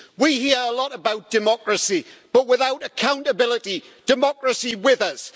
We hear a lot about democracy, but without accountability democracy withers.